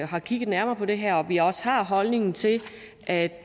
har kigget nærmere på det her og at vi også har en holdning til at